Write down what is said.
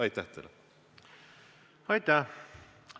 Aitäh!